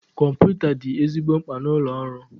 Kọmputa dị ezigbo mkpa na ụlọ ọrụ